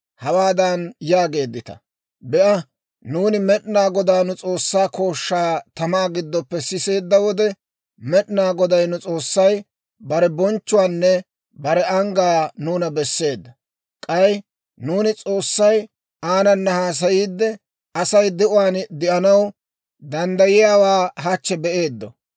hawaadan yaageeddita; ‹Be'a, nuuni Med'inaa Godaa nu S'oossaa kooshshaa tamaa giddoppe siseedda wode, Med'inaa Goday nu S'oossay bare bonchchuwaanne bare anggaa nuuna besseedda. K'ay nuuni S'oossay aanana haasayiide Asay de'uwaan de'anaw danddayiyaawaa hachche be'eeddo.